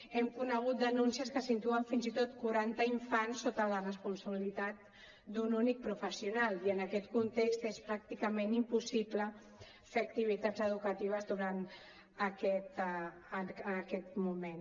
hem conegut denuncies que situen fins i tot quaranta infants sota la responsabilitat d’un únic professional i en aquest context és pràcticament impossible fer activitats educatives durant aquest moment